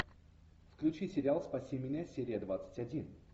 включи сериал спаси меня серия двадцать один